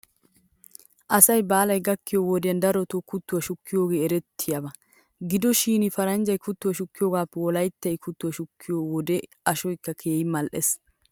Asay baalay gakkiyoo wodiyan daroto kuttuwaa shukkiyoogee erettiyaaba. Gido shin paranjja kuttuwaa shukkiyoogaappe wolaytta kuttuwaa shukiyoo wode ashoykka keehi mal'es.